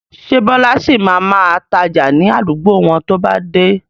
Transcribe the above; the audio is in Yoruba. Ṣé Bọlá sì máa ma tája ni àdúgbò wọn to bá dé?